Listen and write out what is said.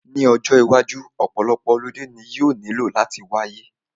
Ní ọjọ́ iwájú, ọ̀pọ̀lọpọ̀ holiday ni yóò nílò láti wáyé